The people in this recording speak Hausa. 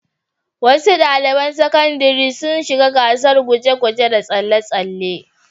Wasu ɗaliban sakandare sun shiga gasar guje-guje da tsalle-tsalle.